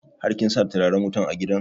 Har kin sa turaren wutan a gidan?